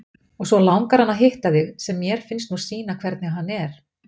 Og svo langar hann að hitta þig, sem mér finnst nú sýna hvernig hann er.